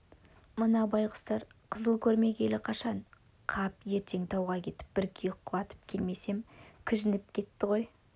мына байғұстар қызыл көрмегелі қашан қап ертең тауға кетіп бір киік құлатып келмесем кіжініп кетті ғой